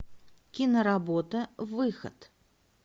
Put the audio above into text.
киноработа выход